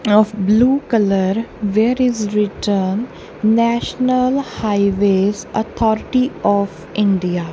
of blue colour where is written national highways authority of india.